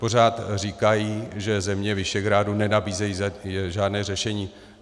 Pořád říkají, že země Visegrádu nenabízejí žádné řešení.